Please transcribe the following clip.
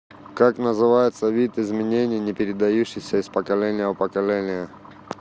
как называется вид изменений не передающийся из поколения в поколение